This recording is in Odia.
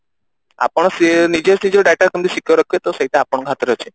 ଆପଣ ସେ ନିଜେ ସେ ଯୋଉ data କେମତି secure ରଖିବ ତ ସେଇଟା ଆପଣଙ୍କ ହାତରେ ଅଛି